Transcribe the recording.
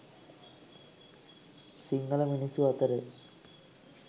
සිංහල මිනිස්සු අතරේ